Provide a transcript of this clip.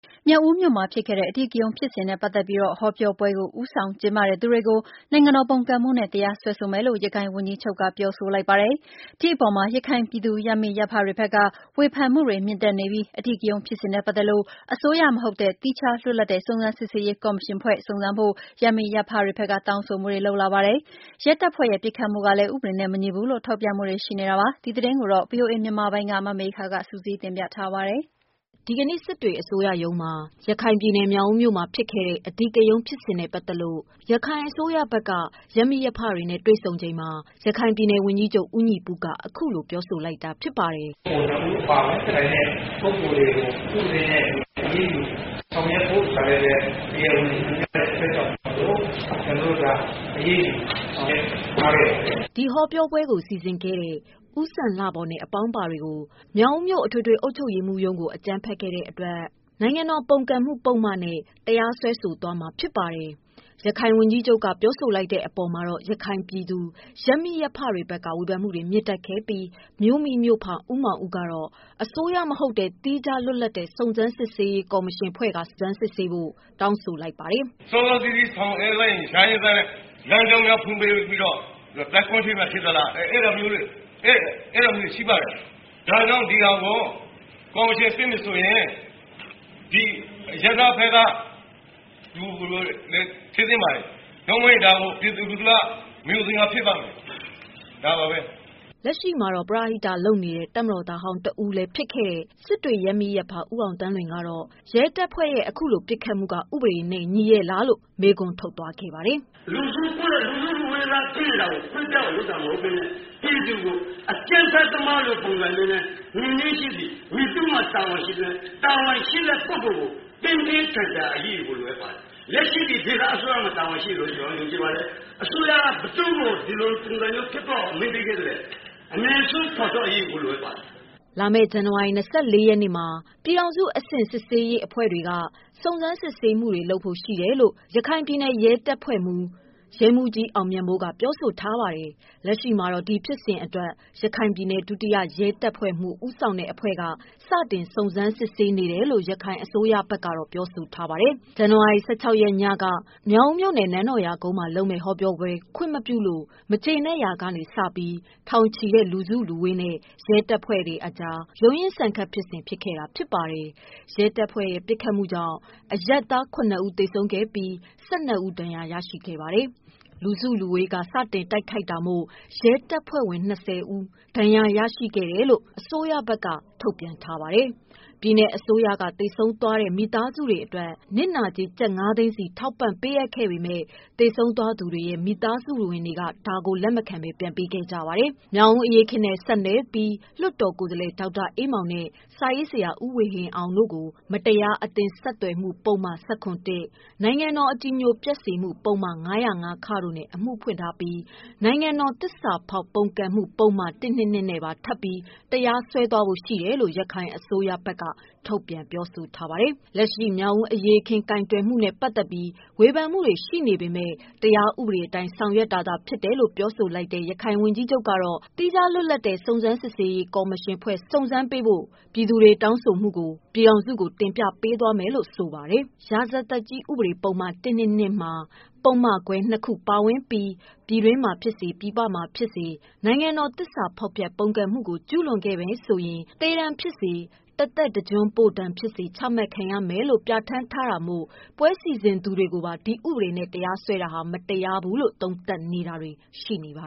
မြောက်ဦးမြို့မှာဖြစ်ခဲ့တဲ့ အဓိက ရုဏ်းဖြစ်စဉ်နဲ့ပတ်သတ်ပြီး ဟောပြောပွဲ ကို ဦးဆောင်ကျင်းပတဲ့ သူတွေကို နိုင်ငံတော်ပုန်ကန်မှုနဲ့တရားစွဲဆိုမယ်လို့ ရခိုင်ဝန်ကြီးချုပ်က ပြောဆို လိုက်ပါတယ်။ ဒီအပေါ်မှာ ရခိုင်ပြည်သူရပ်မိရပ်ဖ တွေဘက်က ဝေဖန်မှုတွေ မြင့်တက်နေပြီး အဓိက ရုဏ်းဖြစ်စဉ်နဲ့ ပတ် သတ်လို့ အစိုးရမဟုတ်တဲ့ သီးခြား လွတ် လပ်တဲ့ စုံစမ်းစစ်ဆေးရေးကော်မရှင်ဖွဲ့ စုံစမ်းဖို့ ရပ်မိရပ်ဖတွေဘက်ကတောင်း ဆိုမှုတွေ လုပ်လာပါတယ်။ ရဲတပ်ဖွဲ့ ပစ်ခတ်မှုကလည်း ဥပဒေနဲ့မညီဘူးလို့ ထောက်ပြမှုတွေ ရှိနေပါတယ်။ ဒီသတင်းကိုဗွီအိုအေ မြန်မာပိုင်း က မေခက စုစည်းတင်ပြထားပါတယ်။ ဒီကနေ့ စစ်တွေ အစိုရရုံးမှာ ရခိုင်ပြည်နယ် မြောက်ဦးမြို့တွင် ဖြစ်ပွားခဲ့တဲ့ အဓိက ရုဏ်းဖြစ်စဉ်နဲ့ပတ်သတ်ပြီး ရခိုင်အစိုးရဘက်က စစ်တွေ ရပ်မိရပ်ဖတွေနဲ့ တွေ့ဆုံချိန်မှာ ရခိုင်ပြည်နယ် ဝန်ကြီးချုပ် ဦးညီပုက အခုလို ပြောဆိုလိုက်တာဖြစ်ပါတယ်။ "ပါဝင်တဲ့ ပုဂ္ဂိုလ်တွေကို ဥပဒေနဲ့အညီ အရေးယူဆောင်ရွက်ဖို့ ဆိုတာလည်း တရားဝင်ထုတ်ပြန် တာမို့ ကျနော်တို့ အရေးတယူဆောင်ရွက်ခဲ့ပါတယ်။" ဟောပြောပွဲ စီစဉ်ခဲ့တဲ့ ဦးစံလှဘော်နဲ့ အပေါင်းပါတွေကို မြောက်ဦးမြို့ အထွေထွေ အုပ်ချုပ်ရေး မှူးရုံးကို အကြမ်းဖက်ခဲ့တဲ့အတွက် တရားစွဲဆိုမှာပါ။ ရခိုင်ဝန်ကြီးချုပ်က ပြောဆို လိုက်တဲ့ အပေါ်မှာ ရခိုင်ပြည်သူရပ်မိရပ်ဖ တွေဘက်က ဝေဖန်မှုတွေ မြင့်တက်ခဲ့ပြီး မြို့မိ မြို့ဖ ဦးမောင်ဦးက အစိုးရမဟုတ်တဲ့ သီးခြားလွတ်လပ်တဲ့ စုံစမ်းစစ်ဆေးရေးကော်မရှင်ဖွဲ့ စုံစမ်းဖို့ တောင်းဆိုလိုက်တာ ပါ။ "စောစောစီးစီးဆောင်ရွက်လိုက်ရင် ရရဲ့သားနဲ့ လမ်းကြောင်းများဖွင့်ပေးပြီးတော့ စစ်သင့်တယ် အဲဒါမျိုးတွေရှိပါတယ်။ ဒါကြောင့်ဒီဟာ ကော်မရှင်စစ်မယ်ဆိုရင် အရပ်သားဖက်က လူတွေဖြစ်သင့်ပါတယ် ။ မဟုတ်ရင်ဒါကို ပြည်သူက မယုံသင်္ကာဖြစ်ပါမယ် ဒါပါပဲ " ပရဟိတလုပ်နေတဲ့ တပ်မတော်သားဟောင်းတဦး လည်းဖြစ်ခဲ့သူ ရပ်မိရပ်ဖ ဦးအောင်သန်းလွင် ကတော့ ရဲတပ်ဖွဲ့ ပစ်ခတ်မှုက ဥပဒေနဲ့ညီရဲ့ လားဆိုပြီး အခုလို မေးခွန်းထုတ် ခဲ့ပါတယ်။ "လူစုခွဲတယ် ဆိုပြီးပစ်တာမဟုတ်ပဲနဲ့ ပြည်သူကို အကြမ်းဖက်သမားလိုပုံစံမျိုးနဲ့ ပစ်တယ် ။ မည်သူ့မှာတာဝန်ရှိသလဲ ၊ တာဝန်ရှိတဲ့ ပုဂ္ဂိုလ်ကို ပြင်းပြင်းထန်ထန်အရေးယူဖို့ လိုအပ်ပါတယ်။ လက်ရှိမှာ ဒေသအစိုးရမှာ တာဝန်ရှိတယ် လို့ ကျနော်ထင်ပါတယ်။ အစိုးရက ဘယ်သူ့ကို ဒီလိုပုံစံမျိုးဖြစ်သွားအောင် အမိန့်ပေးခဲ့သလဲ အမြန်ဆုံးဖော်ထုတ်ဖို့ လိုအပ်ပါတယ်။" လာမယ့် ဇန်နဝါရီ ၂၄ ရက်မှာ ပြည်ထောင်စု အဆင့်စစ်ဆေးရေးအဖွဲ့က စုံစမ်းစစ်ဆေးမှုတွေလုပ်ဖို့ ရှိတယ်လို့ ရခိုင်ပြည်နယ် ရဲတပ် ဖွဲ့မှူး ရဲမှူးကြီး အောင်မြတ်မိုးက ပြောဆိုထားပါတယ်။ လက်ရှိမှာတော့ ဒီဖြစ်စဉ်အတွက် ရခိုင်ပြည်နယ် ဒုတိယရဲတပ်ဖွဲ့မှူး ဦးဆောင်တဲ့ အဖွဲ့က စတင်စစ်ဆေးနေတယ်လို့ ရခိုင်အစိုးရဘက်ကပြောဆို ထားပါတယ်။ ဇန်နဝါရီ ၁၆ ရက် ညက မြောက်ဦးမြို့နယ် နန်းတော်ရာ ကုန်းမှာ လုပ်မယ့် ဟောပြောပွဲ ခွင့်မပြုလို့ မကျေနပ်ရာက စပြီး ထောင်ချီသည့် လူစုလူဝေးနဲ့ရဲ တပ်ဖွဲ့တို့အကြား ရုန်းရင်းဆန်ခတ်ဖြစ်စဉ်ဖြစ်ခဲ့တာဖြစ်ပါတယ်။ရဲ တပ်ဖွဲ့ ပစ်ခတ်မှုကြောင့် အရပ်သားခုနစ်ဦးသေဆုံးပြီး ၁၂ ဦး ဒဏ်ရာရရှိခဲ့ပါတယ်။ လူစုလူဝေးက စတင်တိုက်ခိုက်တာမို့ ရဲတပ်ဖွဲ့ဝင် ၂၀ ဦး ဒဏ်ရာရရှိတယ်လို့ အစိုးရက ထုတ်ပြန်ထားပါတယ်။ ပြည်နယ်အစိုးရက သေဆုံးသွားသူတဦးအတွက်နစ်နာကြေး ကျပ် ၅ သိန်းစီထောက်ပံ့ပေးအပ်ခဲ့ပေမယ့် သေဆုံး သွားသူတွေရဲ့မိသားစုဝင်တွေက လက်မခံဘဲ ပြန်ပေးခဲ့ကြပါတယ်။ မြောင်ဦးအရေးအခင်းနဲ့ဆက်နွယ်ပြီး လွှတ်တော် ကိုယ်စားလှယ် ဒေါက်တာအေးမောင်နဲ့ စာရေးဆရာ ဦးဝေဟင်အောင်တို့ကို မတရားအသင်း ဆက်သွယ်မှု ပုဒ်မ ၁၇ (၁)၊ နိုင်ငံတော် အကြည်ညိုပျက်စေမှု ပုဒ်မ ၅၀၅ (ခ) တို့နဲ့ အမှုဖွင့်ထားပြီး နိုင်ငံတော် သစ္စာဖောက်ပုန်ကန်မှု ပုဒ်မ ၁၂၂ နဲ့ပါထပ်ပြီးတရားစွဲမယ်လို့ ရခိုင်အစိုးရဘက်က ပြောဆိုထားပါတယ်။ လက်ရှိ မြောင်ဦးအရေးအခင်းကိုင်တွယ်မှု နဲပတ်သတ်ပြီး ဝေဖန်မှုတွေရှိနေပေမယ့် တရားဥပဒေအတိုင်းဆောင်ရွက်တာသာဖြစ်တယ်လို့ ပြောဆိုထားတဲ့ ရခိုင် ဝန်ကြီးချုပ်ကတော့ သီးခြား လွတ် လပ်တဲ့ စုံစမ်းစစ်ဆေးရေးကော်မရှင်ဖွဲ့ စုံစမ်းဖို့ကို ပြည်ထောင်စုကို တင်ပြသွားမယ် လို့ ဆိုပါတယ်။ ရာဇသတ်ကြီး ဥပဒေပုဒ်မ ၁၂၂ မှာ ပုဒ်မခွဲ ၂ ခုပါဝင်ပြီး ပြည်တွင်းမှာဖြစ်စေ ပြည်ပမှာဖြစ်စေ နိုင်ငံတော် သစ္စာဖောက်ဖျက် ပုန်ကန်မှုကို ကျူးလွန်ရင် သေဒဏ်ဖြစ်စေ၊ တစ်သက်တစ်ကျွန်းပို့ဒဏ်ဖြစ်စေ ချမှတ်ခံရမယ်လို့ ပြဌာန်းထားတာမို့ ပွဲစီစဉ်သူတွေကိုပါ ဒီဥပဒေနဲ့ တရားစွဲ တာဟာ မတရားဘူးလို့သုံးသပ်နေတာတွေ ရှိနေပါ